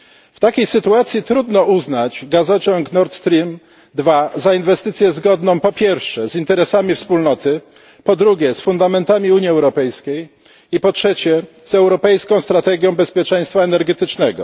W takiej sytuacji trudno uznać gazociąg Nord Stream II za inwestycję zgodną po pierwsze z interesami Wspólnoty, po drugie z fundamentami Unii Europejskiej i po trzecie z europejską strategią bezpieczeństwa energetycznego.